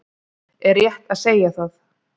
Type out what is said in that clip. Er rétt að segja það?